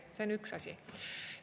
See on üks asi.